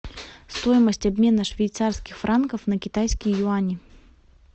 стоимость обмена швейцарских франков на китайские юани